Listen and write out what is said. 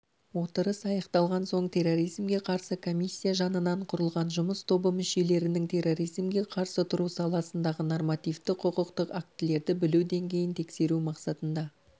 отырыс аяқталған соң терроризмге қарсы комиссия жанынан құрылған жұмыс тобы мүшелерінің терроризмге қарсы тұру саласындағы нормативті-құқықтық актілерді білу деңгейін тексеру мақсатында